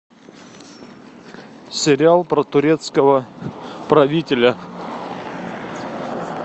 сериал про турецкого правителя